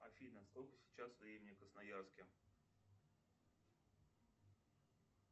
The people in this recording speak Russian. афина сколько сейчас времени в красноярске